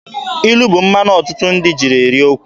Ilu bụ mmanụ ọtụtụ ndị ji eri okwu.